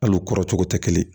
Al'u kɔrɔ cogo tɛ kelen ye